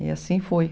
E assim foi.